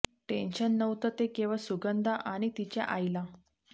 tension नव्हतं ते केवळ सुगंधा आणि तिच्या आईला